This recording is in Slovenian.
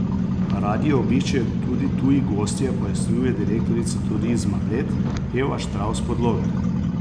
Radi jo obiščejo tudi tuji gostje, pojasnjuje direktorica Turizma Bled Eva Štravs Podlogar.